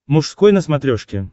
мужской на смотрешке